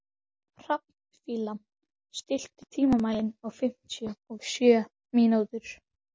Hrafnfífa, stilltu tímamælinn á fimmtíu og sjö mínútur.